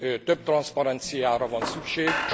több transzparenciára van szükség.